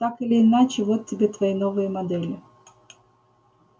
так или иначе вот тебе твои новые модели